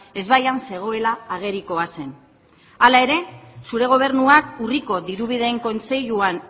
ezbaian zegoela agerikoa zen hala ere zure gobernuak urriko diru bideen kontseiluan